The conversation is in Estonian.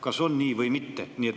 Kas on nii või mitte?